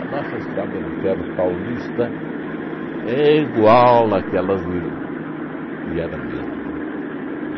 nossa Estrada de Ferro paulista é igual àquelas de de... E era mesmo, viu?